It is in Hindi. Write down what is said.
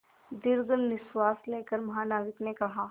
दीर्घ निश्वास लेकर महानाविक ने कहा